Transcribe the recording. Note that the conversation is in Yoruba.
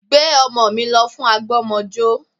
Gbé ọmọ mi lọ fún àgbọ́mọjó